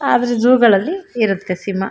ಆದ್ರೆ ಜೂ ಗಳಲ್ಲಿ ಇರುತ್ತೆ ಸಿಂಹ.